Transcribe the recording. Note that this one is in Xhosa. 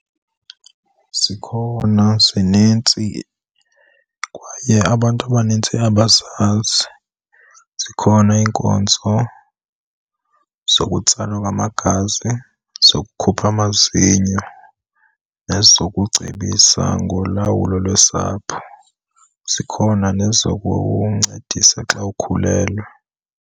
Zikhona zinintsi kwaye abantu abanintsi abazazi. Zikhona iinkonzo zokutsalwa kwamagazi, zokukhupha amazinyo nezokucebisa ngolawulo lwesapho. Zikhona nezokuncedisa xa ukhulelwe.